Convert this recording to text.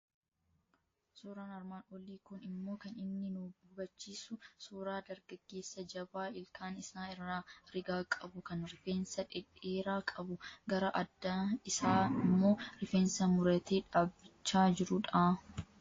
Suuraan armaan olii kun immoo kan inni nu hubachiisu suuraa dargaggeessa jabaa, ilkaan isaa irraa rigaa qabu, kan rifeensa dhedheeraa qabu, gara adda isaa immoo rifeensa muratee dhaabbachaa jiru dha.